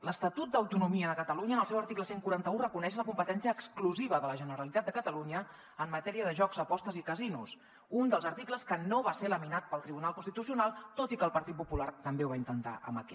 l’estatut d’autonomia de catalunya en el seu article cent i quaranta un reconeix la competència exclusiva de la generalitat de catalunya en matèria de jocs apostes i casinos un dels articles que no va ser laminat pel tribunal constitucional tot i que el partit popular també ho va intentar amb aquest